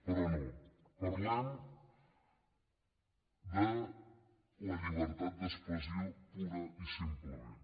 però no parlem de la llibertat d’expressió purament i simplement